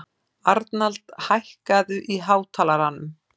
Arnald, hækkaðu í hátalaranum.